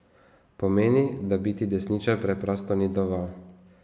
Pomeni, da biti desničar preprosto ni dovolj.